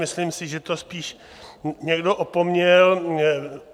Myslím si, že to spíš někdo opomněl.